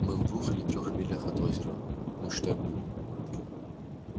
мы в двух или трёх милях от озера ну считай в двух